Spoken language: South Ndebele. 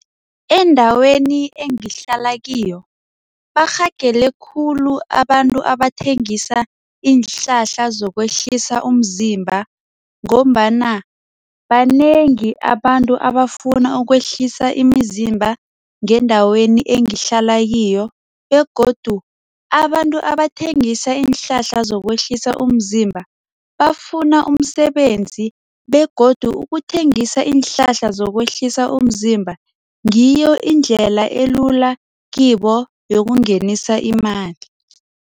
Endaweni engihlala kiyo barhagele khulu abantu abathengisa iinhlahla zokwehlisa umzimba. Ngombana banengi abantu abafuna ukwehlisa imizimba ngendaweni engihlala kiyo begodu abantu abathengisa iinhlahla zokwehlisa umzimba bafuna umsebenzi begodu ukuthengisa iinhlahla zokwehlisa umzimba ngiyo indlela elula kibo yokungenisa imali.